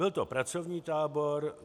Byl to pracovní tábor.